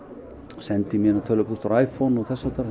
og sendi mína tölvupósta úr iPhone og